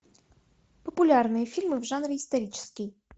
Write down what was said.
популярные фильмы в жанре исторический